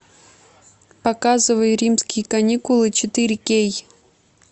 показывай римские каникулы четыре кей